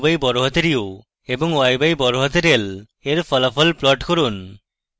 এবং u/u and y/l এর ফলাফল প্লট করুন